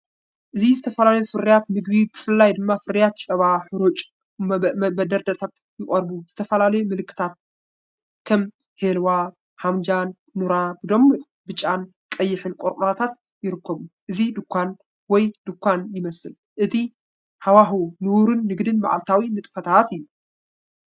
እዚ ዝተፈላለዩ ፍርያት ምግቢ ብፍላይ ድማ ፍርያት ጸባ ሕሩጭ ኣብ መደርደሪታት ይቐርቡ። ዝተፈላለዩ ምልክታት ከም "ሂልዋ"፣ "ሃምዳ"ን "ኑራ"ን ብድሙቕ ብጫን ቀይሕን ቆርቆሮታት ይርከቡ። እዚ ድኳን ወይ ድኳን ይመስል። እቲ ሃዋህው ንቡር ንግድን መዓልታዊ ንጥፈታትን እዩ።